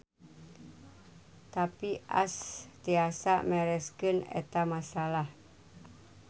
Tapi Ash tiasa mereskeun eta masalah.